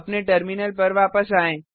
अपने टर्मिनल पर वापस आएँ